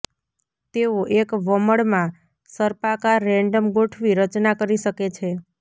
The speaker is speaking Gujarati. તેઓ એક વમળ માં સર્પાકાર રેન્ડમ ગોઠવી રચના કરી શકે છે